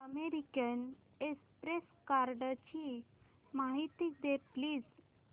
American Express कार्डची माहिती दे प्लीज